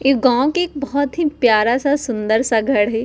एक गांव के एक बोहोत ही प्यारा-सा सुन्दर-सा घर है।